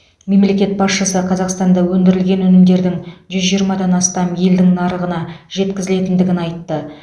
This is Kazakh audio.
мемлекет басшысы қазақстанда өндірілген өнімдердің жүз жиырмадан астам елдің нарығына жеткізілетіндігін айтты